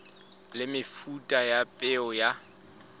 le mefuta ya peo ya